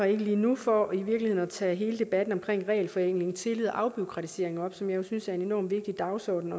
ikke lige nu for i virkeligheden at tage hele debatten omkring regelforenkling tillid og afbureaukratisering op som jeg jo synes er en enorm vigtig dagsorden